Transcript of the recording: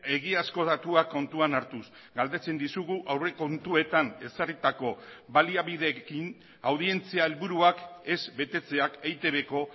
egiazko datuak kontuan hartuz galdetzen dizugu aurrekontuetan ezarritako baliabideekin audientzia helburuak ez betetzeak eitbko